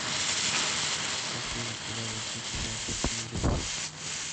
афина когда возник виадук мийо